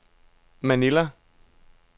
Manila